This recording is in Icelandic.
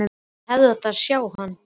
Þið hefðuð átt að sjá hann!